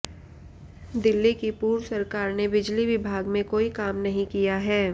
दिल्ली की पूर्व सरकार ने बिजली विभाग में कोई काम नहीं किया है